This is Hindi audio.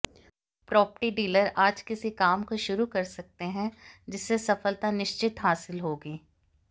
प्रौपर्टी डीलर आज किसी काम को शुरू कर सकते हैं जिससे सफलता निश्चित हासिल होगी